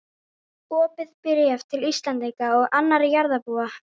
OPIÐ BRÉF TIL ÍSLENDINGA OG ANNARRA JARÐARBÚA.